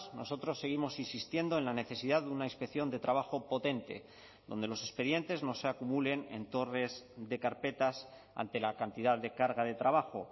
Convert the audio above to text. nosotros seguimos insistiendo en la necesidad de una inspección de trabajo potente donde los expedientes no se acumulen en torres de carpetas ante la cantidad de carga de trabajo